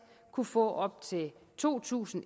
kunne få op til to tusind